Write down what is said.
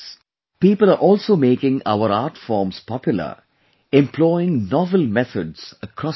People are also making our art forms popular employing novel methods across the country